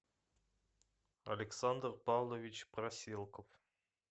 александр павлович проселков